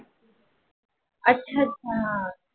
अच्छा अच्छा